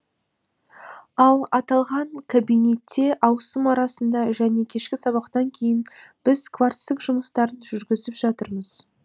ал аталған кабинетте ауысым арасында және кешкі сабақтан кейін біз кварцтық жұмыстарын жүргізіп жатырмыз